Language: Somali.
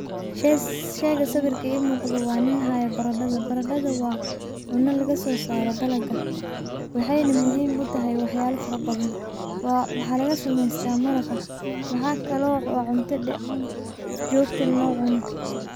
Shega sawirka I muqdo wa nin hayo barada, barada wa cuna lagasosaro dalaga, wxay na muhim u tahay wax yala farabadhan wxa lagasameyta maraqa wxakale wa cunta jotale locuno.